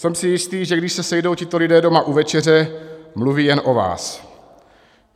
Jsem si jistý, že když se sejdou tito lidé doma u večeře, mluví jen o vás.